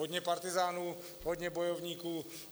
Hodně partyzánů, hodně bojovníků.